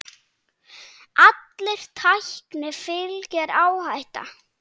Allri tækni fylgir áhætta.